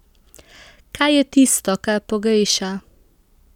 Kaj je tisto, kar pogreša?